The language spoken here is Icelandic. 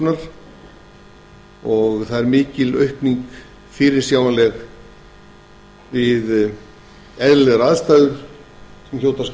þorlákshafnar og mikil aukning er fyrirsjáanleg við eðlilegar aðstæður sem hljóta að